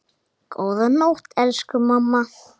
Góða nótt, elsku mamma.